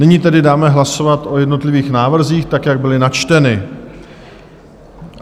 Nyní tedy dáme hlasovat o jednotlivých návrzích tak, jak byly načteny.